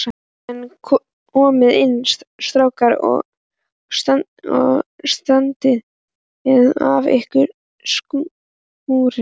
En komiði inn strákar og standið af ykkur skúrina.